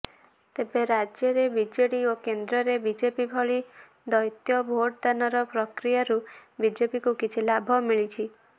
ତେବେ ରାଜ୍ୟରେ ବିଜେଡି ଓ କେନ୍ଦ୍ରରେ ବିଜେପି ଭଳି ଦ୍ବୈତ ଭୋଟଦାନର ପ୍ରକ୍ରିୟାରୁ ବିଜେପିକୁ କିଛି ଲାଭ ମିଳିଛି